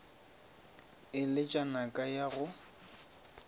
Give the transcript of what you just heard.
e letšwa naka ya go